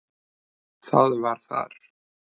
Það var þar.